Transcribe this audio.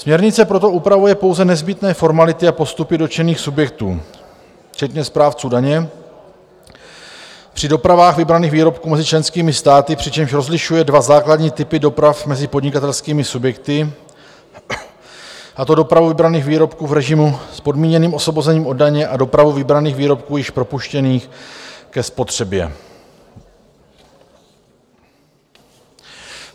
Směrnice proto upravuje pouze nezbytné formality a postupy dotčených subjektů včetně správců daně při dopravách vybraných výrobků mezi členskými státy, přičemž rozlišuje dva základní typy doprav mezi podnikatelskými subjekty, a to dopravu vybraných výrobků v režimu s podmíněným osvobozením od daně a dopravu vybraných výrobků již propuštěných ke spotřebě.